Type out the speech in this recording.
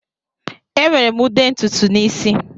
Ewere m ude ntutu n'isi.